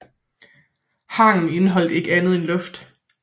Hangen indeholder ikke andet end luft